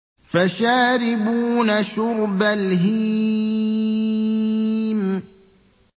فَشَارِبُونَ شُرْبَ الْهِيمِ